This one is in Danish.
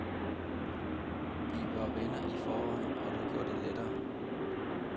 Vi var venner i forvejen, og det gjorde det lettere.